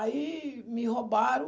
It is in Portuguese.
Aí me roubaram.